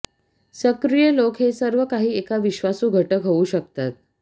सक्रिय लोक हे सर्व काही एका विश्वासू घटक होऊ शकतात